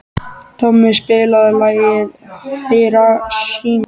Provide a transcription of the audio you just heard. Tommi, spilaðu lagið „Hiroshima“.